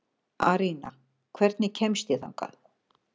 Arína, hvernig kemst ég þangað?